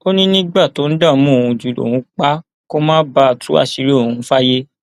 ó ní nígbà tó ń dààmú òun jù lòun pa á kó má bàa tú àṣírí òun fáyé